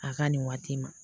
A ka nin waati ma